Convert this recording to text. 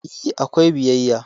E, akwai biyayya.